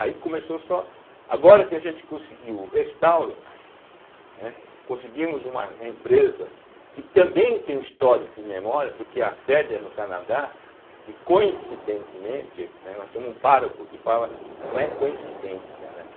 Aí começou só... Agora que a gente conseguiu o restauro, né, conseguimos uma empresa que também tem um histórico de memória, porque a sede é no Canadá e, coincidentemente, né, nós temos um páraco que fala... Não é coincidência, né.